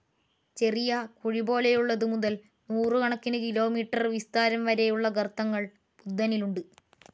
ചെറിയ കുഴിപോലെയുള്ളത് മുതൽ നൂറുകണക്കിന് കിലോമീറ്റർ വിസ്താരം വരെയുള്ള ഗർത്തങ്ങൾ ബുദ്ധനിലുണ്ട്.